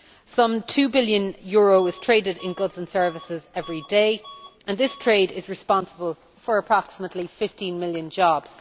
Some EUR 2 billion is traded in goods and services every day, and this trade is responsible for approximately 15 million jobs.